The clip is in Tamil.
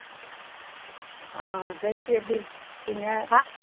ஆஹ் ஜெயஸ்ரீ எப்படி இருக்கீங்க?